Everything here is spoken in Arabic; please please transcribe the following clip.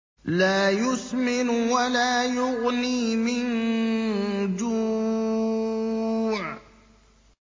لَّا يُسْمِنُ وَلَا يُغْنِي مِن جُوعٍ